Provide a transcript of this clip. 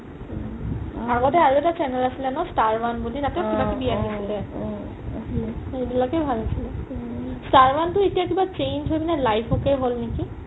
আগতে আৰু এটা channel আছিলে ন স্তাৰ one বুলি তাতেও কিবা কিবি আহিছিলে তৌ এইবিলাকে ভাল আছিলে স্তাৰ one এতিয়া কিবা change হয় কিনে live okay হ'ল নেকি